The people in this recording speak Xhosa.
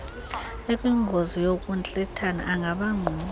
ekwingozi yokuntlithana angabangquba